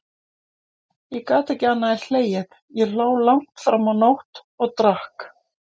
Ég gat ekki annað en hlegið, ég hló langt fram á nótt, og drakk.